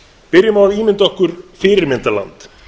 byrjum á að ímynda okkur fyrirmyndarland